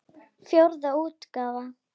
Fjórða útgáfa.